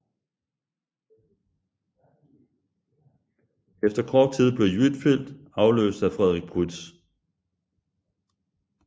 Efter kort tid blev Huitfeldt afløst af Frederik Prytz